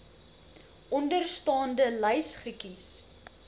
onderstaande lys kies